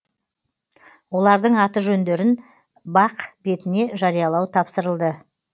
олардың аты жөндерін бақ бетіне жариялау тапсырылды